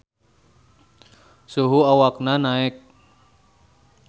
Suhu awakna naek.